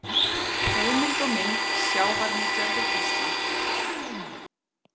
Heimild og mynd Sjávarnytjar við Ísland.